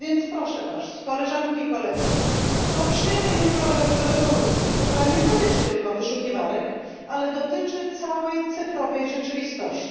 Proszę więc Was, Koleżanki i Koledzy, poprzyjmy jutro rezolucję, która nie dotyczy tylko wyszukiwarek, ale dotyczy całej cyfrowej rzeczywistości.